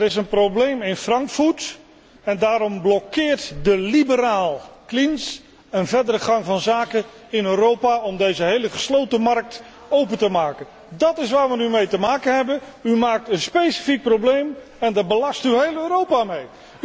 Er is een probleem in Frankfurt en daarom blokkeert de liberaal Klinz een verdere gang van zaken in Europa om deze gehele gesloten markt open te gooien. Dat is waar we nu mee te maken hebben. U creëert een specifiek probleem en daar belast u heel Europa mee.